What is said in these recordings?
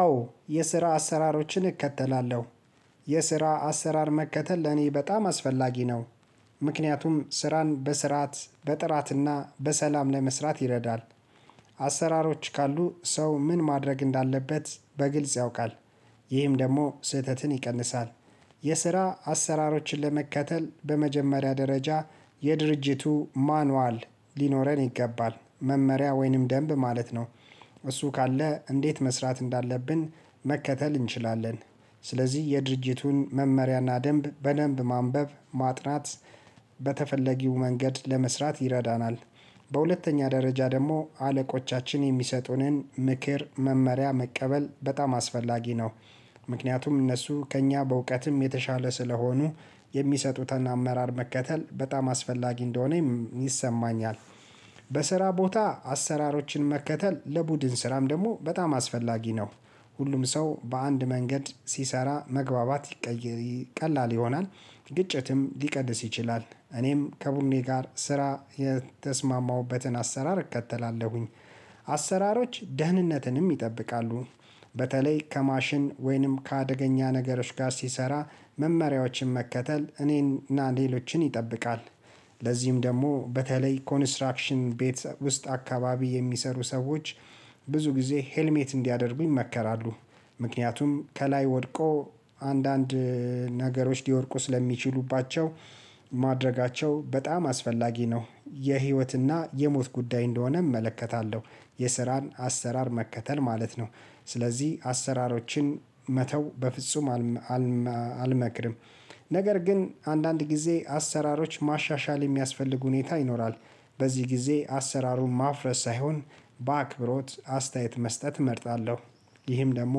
አዎ የስራ አሰራሮችን እከተላለሁ የስራ አሰራር መከተል ለኔ በጣም አስፈላጊ ነው። ምክንያቱም ስራን በስርዓት በጥራትና በሰላም ለመስራት ይረዳል። አሰራሮች ካሉ ሰው ምን ማድረግ እንዳለበት በግልጽ ያውቃል። ይህም ደግሞ ስህተትን ይቀንሳል። የስራ አሰራሮችን ለመከተል በመጀመሪያ ደረጃ የድርጅቱ ማኑዋል ሊኖረን ይገባል መመሪያ ወይንም ደንብ ማለት ነው። እሱ ካለ እንዴት መስራት እንዳለብን መከተል እንችላለን። ስለዚህ የድርጅቱን መመሪያና ደንብ በደንብ ማንበብ ማጥናት በተፈለጊው መንገድ ለመስራት ይረዳናል። በሁለተኛ ደረጃ ደግሞ አለቆቻችን የሚሰጡንን ምክር መመሪያ መቀበል በጣም አስፈላጊ ነው። ምክንያቱም እነሱ ከእኛ በእውቀትም የተሻለ ስለሆኑ የሚሰጡትን አመራር መከተል በጣም አስፈላጊ እንደሆነ ይሰማኛል። በስራ ቦታ አሰራሮችን መከተል ለቡድን ስራም ደግሞ በጣም አስፈላጊ ነው። ሁሉም ሰው በአንድ መንገድ ሲሰራ መግባባት ቀላል ይሆናል። ግጭትም ሊቀንስ ይችላል እኔም ከቡድኔ ጋር ስራ የተስማማሁበትን አሰራር እከተላለሁኝ። አሰራሮች ደህንነትንም ይጠብቃሉ። በተለይ ከማሽን ወይንም ከአደገኛ ነገሮች ጋር ሲሰራ መመሪያዎችን መከተል እኔን እና ሌሎችን ይጠብቃል። ለዚህም ደግሞ በተለይ ኮንስትራክሽን ቤት ውስጥ አካባቢ የሚሰሩ ሰዎች ብዙ ጊዜ ሄልሜት እንዲያደርጉኝ ይመከራሉ ምክንያቱም ከላይ ወድቆ አንዳንድ ነገሮች ሊወድቁ ስለሚችሉባቸው ማድረጋቸው በጣም አስፈላጊ ነው የህይወትና የሞት ጉዳይ እንደሆነ እመለከታለሁ። የስራን አሰራር መከተል ማለት ነው። ስለዚህ አሰራሮችን መተው በፍጹም አልመክርም። ነገር ግን አንዳንድ ጊዜ አሰራሮች ማሻሻል የሚያስፈልግ ሁኔታ ይኖራል። በዚህ ጊዜ አሰራሩን ማፍረስ ሳይሆን በአክብሮት አስተያየት መስጠት እመርጣለሁ። ይህም ደግሞ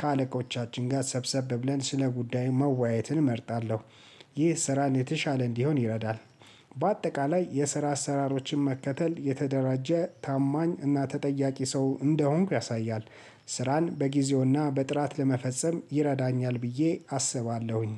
ከአለቆቻችን ጋር ሰብሰብ ብለን ስለ ጉዳዩ መወያየትን እመርጣለሁ። ይህ ስራን የተሻለ እንዲሆን ይረዳል። በአጠቃላይ የስራ አሰራሮችን መከተል የተደራጀ ታማኝ እና ተጠያቂ ሰው እንደሆንኩ ያሳያል። ስራን በጊዜውና በጥራት ለመፈጸም ይረዳኛል ብዬ አስባለሁኝ